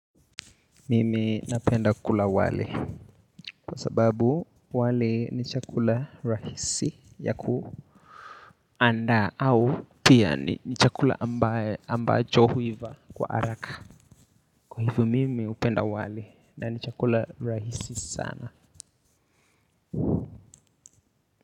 Mimi na penda kula wali kwa sababu wali ni chakula rahisi ya kuanda au pia ni ni chakula ambaye ambacho huiva kwa araka. Kwa hivyo mimi upenda wali na ni chakula rahisi sana.